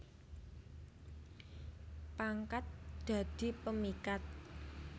Pangkat dadi pemikat